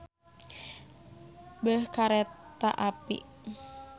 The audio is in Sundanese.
Beh kareta api.